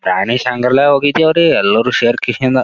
ಪ್ರಾಣಿ ಸಂಗ್ರಹಾಲಯ ಹೋಗಿದ್ವಿ ರೀ ಎಲ್ಲರೂ ಸೆರಕೆಸಿಂದ .